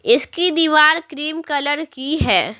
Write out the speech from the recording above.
इसकी दीवार cream colour की है।